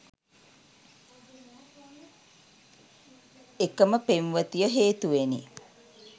එකම පෙම්වතිය හේතුවෙනි